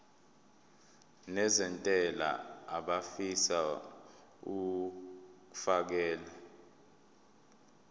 nezentela abafisa uukfakela